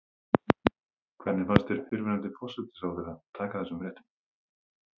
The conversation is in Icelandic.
Hvernig fannst þér fyrrverandi forsætisráðherra taka þessum fréttum?